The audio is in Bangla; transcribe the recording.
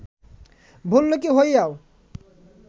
ভল্লুকী হইয়াও